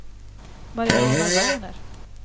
Mariana Werner